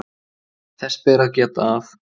Þess ber að geta að